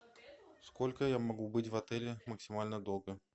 сколько я могу быть в отеле максимально долго